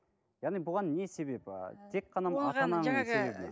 яғни бұған не себеп ыыы тек қана